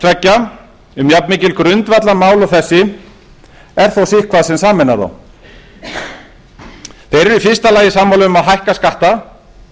tveggja um jafnmikil grundvallarmál og þessi er þó sitthvað sem sameinar þá þeir eru í fyrsta lagi sammála um að hækka skatta